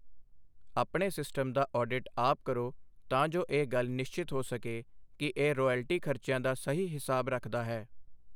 ਆਪਣੇ ਸਿਸਟਮ ਦਾ ਆਡਿਟ ਆਪ ਕਰੋ ਤਾਂ ਜੋ ਇਹ ਗੱਲ ਨਿਸ਼ਚਿਤ ਹੋ ਸਕੇ ਕਿ ਇਹ ਰਾਇਲਟੀ ਖਰਚਿਆਂ ਦਾ ਸਹੀ ਹਿਸਾਬ ਰੱਖਦਾ ਹੈ।